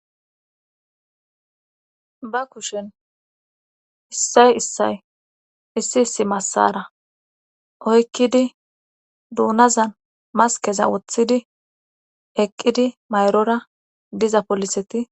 Ba kushen issay issay issi issi massara oykkidi duunazan maskeza woththidi eqqidi mayrora diza poliseti